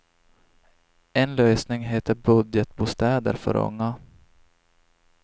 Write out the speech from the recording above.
En lösning heter budgetbostäder för unga.